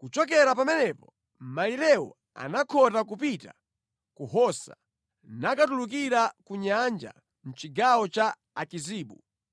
Kuchokera pamenepo malirewo anakhota kupita ku Hosa nakatulukira ku Nyanja, mʼchigawo cha Akizibu,